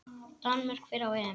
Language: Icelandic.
Danmörk fer á EM.